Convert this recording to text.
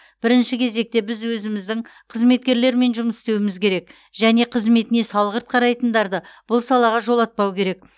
бірінші кезекте біз өзіміздің қызметкерлермен жұмыс істеуіміз керек және қызметіне салғырт қарайтындарды бұл салаға жолатпау керек